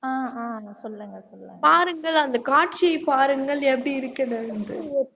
ஆஹ் ஆஹ் சொல்லுங்க சொல்லுங்க பாருங்கள் அந்த காட்சியை பாருங்கள் எப்படி இருக்குது என்று